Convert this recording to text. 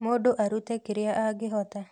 Mũndũ arũte kĩrĩa angĩhota